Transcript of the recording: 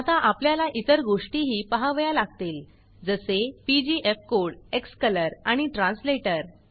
आता आपल्याला इतर गोष्टीही पाहावया लागतील जसे पीजीएफकोड क्सकलर आणि translatorट्रॅनस्लेटर